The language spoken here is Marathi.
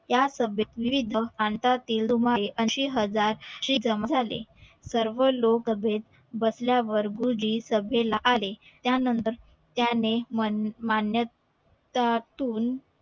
या सभेत विविध प्रांता तील अशे हजार शीख जमा झाले सर्व लोक सभेत बसल्यावर गुरुजी सभेला आले त्या नंतर त्यानी मान मान्यतातून